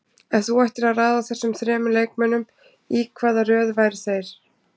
Ef þú ættir að raða þessum þremur leikmönnum, í hvaða röð væru þeir?